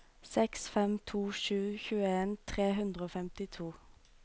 seks fem to sju tjueen tre hundre og femtito